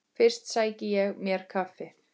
Fyrst sæki ég mér kaffi.